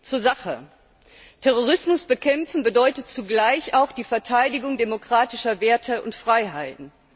Zur Sache Terrorismus bekämpfen bedeutet zugleich auch die Verteidigung demokratischer Werte und Freiheiten.